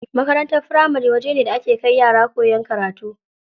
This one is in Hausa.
Makarantar firamari wajene da ake kai yara koyan karatu.